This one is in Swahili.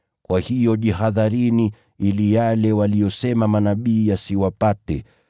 Kwa hiyo jihadharini ili yale waliyosema manabii yasiwapate: